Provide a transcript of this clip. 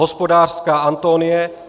Hospodářská Antonie